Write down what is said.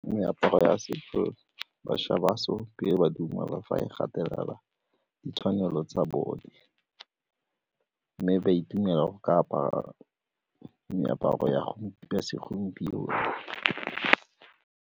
Meaparo ya setso, bašwa ba ba dumela fa e gatelela ditshwanelo tsa bone mme ba itumela go ka apara meaparo ya segompieno.